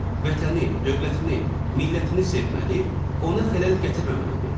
vətəni, dövlətini, millətini sevməli, ona xələl gətirməməlidir.